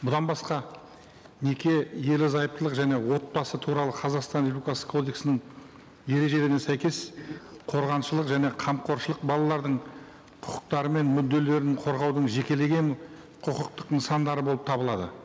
бұдан басқа неке ерлі зайыптылық және отбасы туралы қазақстан республикасы кодексінің ережелеріне сәйкес қорғаншылық және қамқоршылық балалардың құқықтары мен мүдделерін қорғаудың жекелеген құқықтық нысандары болып табылады